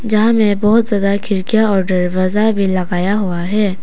जहां में बहोत ज्यादा खिड़कियां और दरवाजा भी लगाया हुआ है।